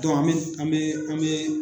an be an be